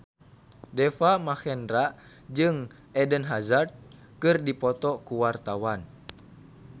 Deva Mahendra jeung Eden Hazard keur dipoto ku wartawan